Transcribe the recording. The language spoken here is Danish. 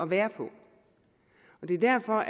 være på det er derfor